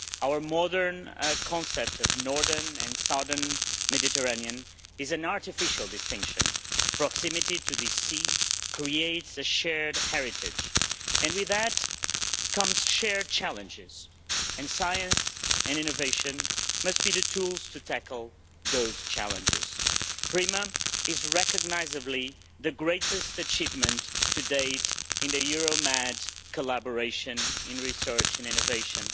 Our modern concept of Northern and Southern Mediterranean is an artificial distinction. Proximity to this sea creates a shared heritage, and with that comes shared challenges and science and innovation must be the tools to tackle those challenges. PRIMA is recognisably the greatest achievement to date in Euro Med collaboration in research and innovation.